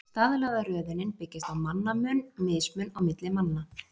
Staðlaða röðunin byggist á mannamun, mismun milli manna.